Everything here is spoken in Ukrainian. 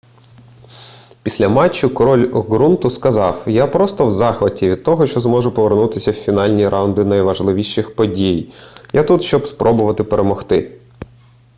після матчу король ґрунту сказав я просто в захваті від того що зможу повернутися в фінальні раунди найважливіших подій я тут щоб спробувати перемогти